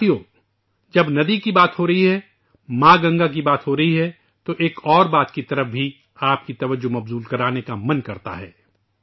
دوستو ، جب ندی کی بات ہو رہی ہے ، ماں گنگا کی بات ہو رہی ہے تو ایک اور بات کی جانب بھی آپ کی توجہ مبذول کرانا چاہتا ہوں